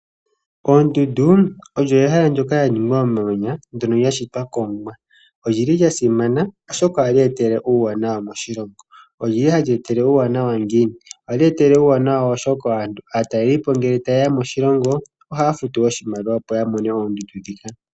Oondundu odho oshishitwa shoka sha ningwa momamanya shoka sha shitwa kOmuwa. Odha simana, oshoka ohadhi eta uuwanawa moshilongo. Ohadhi eta uuwanawa ngiini? Ohadhi eta uuwanawa, oshoka aatalelipo ngele taye ya moshilongo ohay afutu oshimaliwa, opo ya mone oondundu ndhika.